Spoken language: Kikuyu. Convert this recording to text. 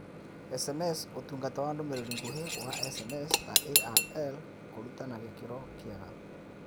SMS Ũtungata wa Ndũmĩrĩri Nguhĩ wa SMSTaRL Kũruta na gĩkĩro kĩega